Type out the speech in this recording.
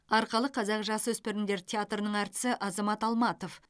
арқалық қазақ жасөспірімдер театрының әртісі азамат алматов